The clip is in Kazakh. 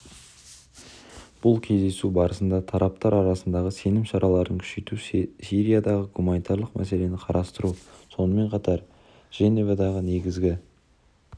бұл кездесу барысында тараптар арасындағы сенім шараларын күшейту сириядағы гуманитарлық мәселені қарастыру сонымен қатар женевадағы негізгі